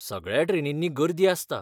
सगळ्या ट्रेनींनी गर्दी आसता.